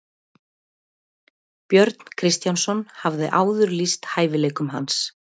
Björn Kristjánsson hafði áður lýst hæfileikum hans.